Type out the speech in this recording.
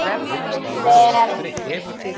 Fari hún vel.